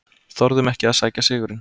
Þorðum ekki að sækja sigurinn